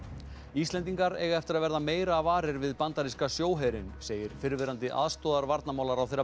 Íslendingar eiga eftir að verða meira varir við bandaríska sjóherinn segir fyrrverandi